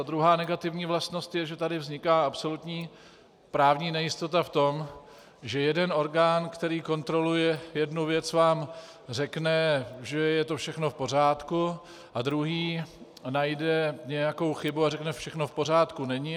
Ta druhá negativní vlastnost je, že tady vzniká absolutní právní nejistota v tom, že jeden orgán, který kontroluje jednu věc, vám řekne, že je to všechno v pořádku, a druhý najde nějakou chybu a řekne všechno v pořádku není.